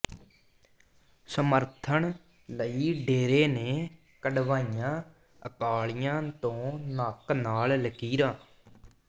ਸਮੱਰਥਨ ਲਈ ਡੇਰੇ ਨੇ ਕੱਢਵਾਈਆਂ ਅਕਾਲੀਆਂ ਤੋਂ ਨੱਕ ਨਾਲ ਲਕੀਰਾਂ